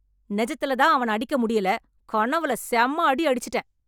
நிஜத்துல தான் அவன அடிக்க முடியல, கனவுல செம அடி அடிச்சுட்டேன்.